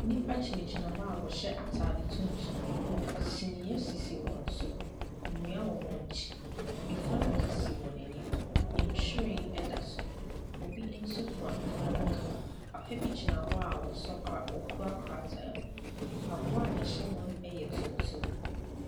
Nnipa gyinagyina hɔ a wɔhyɛ atade tuntum. Kyiniiɛ sisi wɔn so. Nnua wɔ wɔn akyi. Funu adaka si wɔn anim. Nhwiren da so. Obi nso kura funu adaka. Papa bi gyina hɔ a ɔso kra ɔkura krataa mu. Mpaboa a ɛhyɛ wɔn yɛ tuntum.